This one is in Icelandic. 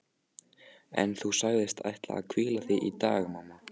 En þú sagðist ætla að hvíla þig í dag mamma.